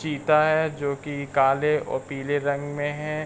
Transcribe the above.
चिता है जो कि काले और पीले रग में है।